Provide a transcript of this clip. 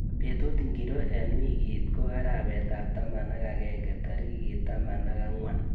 Betut ngiro eng wiikit ko arawetab taman ak agenge tarik taman ak angwan